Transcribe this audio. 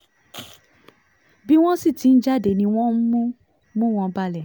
bí wọ́n sì ti ń jáde ni wọ́n ń mú mú wọn balẹ̀